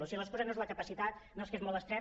o sigui l’excusa no és la capacitat no és que és molt estret